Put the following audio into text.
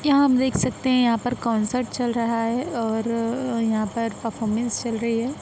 यहाँ आप देख सकते हैं यहाँ पर कॉन्सर्ट चल रहा है और यहाँ पर परफॉर्मन्स चल रही है।